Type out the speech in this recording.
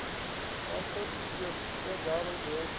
Quase todo dia pegava gente.